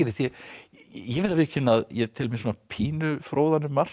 ég verð að viðurkenna ég tel mig pínu fróðan um margt